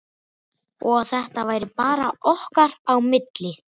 Og að þetta væri bara okkar á milli.